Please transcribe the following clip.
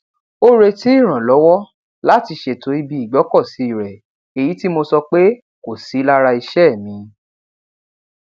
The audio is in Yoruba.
ó retí ìrànlọwọ láti ṣètò ibi ìgbókòsí rẹ èyí tí mo sọ pé kò sí lára iṣé mi